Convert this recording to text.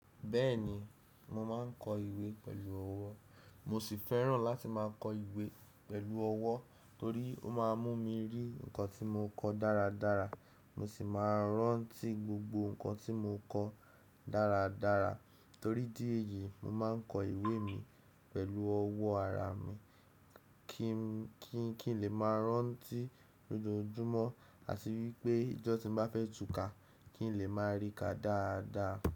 Bẹ́ẹ̀ni, mo máa ń kọ ìwé pẹ̀lú ọwọ́. Mo sì fẹ́ràn láti máa kọ ìwé pẹ̀lú ọwọ́ torí ó máa ń mú mi rí nǹkan tí mo kọ dáradára, mo sì máa ń rántí gbogbo nǹkan tí mo kọ dáradára. Torí idí èyí, mo máa ń kọ ìwé mi pẹ̀lú ọwọ́ ara mi kí n lè máa rántí lójoojúmọ́ àti wípé ijọ́ tí ń bá fẹ́ túká kí n lè máa rí i ká dáadáa.